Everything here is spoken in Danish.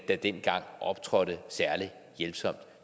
der dengang optrådte særlig hjælpsomt